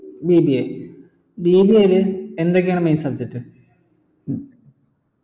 BBABBA യിൽ എന്തൊക്കെയാണ് main subject